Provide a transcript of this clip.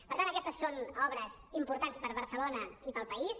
per tant aquestes són obres importants per a barcelona i per al país